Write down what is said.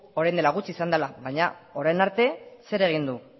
orain dela gutxi izan dela baina orain arte zer egin du